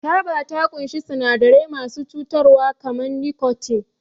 Taba ta ƙunshi sinadarai masu cutarwa kamar nikotin.